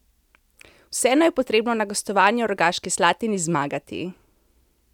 Vseeno je potrebno na gostovanju v Rogaški Slatini zmagati.